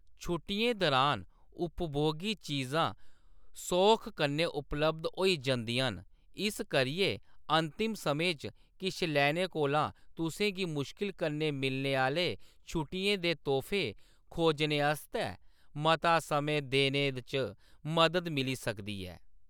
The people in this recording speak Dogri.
छुट्टियें दरान उपभोगी चीजां सौख कन्नै उपलब्ध होई जंदियां न, इस करियै अंतिम समें च किश लैने कोला तुसें गी मुश्कल कन्नै मिलने आह्‌‌‌ले छुट्टियें दे तोह्‌‌फे खोजने आस्तै मता समें देने च मदद मिली सकदी ऐ।